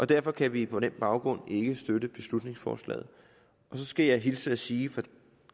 derfor kan vi på den baggrund ikke støtte beslutningsforslaget og så skal jeg hilse at sige fra de